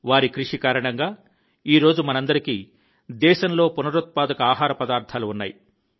వారి కృషి కారణంగా ఈ రోజు మనందరికీ దేశంలో పునరుత్పాదక ఆహార పదార్థాలు ఉన్నాయి